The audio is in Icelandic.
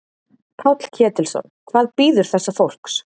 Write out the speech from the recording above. Páll Ketilsson: Hvað bíður þessa fólks?